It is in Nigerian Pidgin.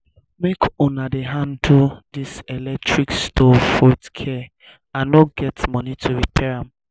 make una dey handle dis electric stove with care i no get money to repair am